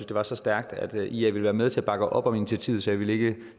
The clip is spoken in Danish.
det var så stærkt at ia ville være med til at bakke op om initiativet så jeg ville ikke